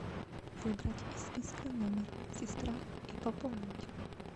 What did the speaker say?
выбрать из списка номер сестра и пополнить